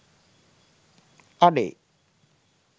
අඩේ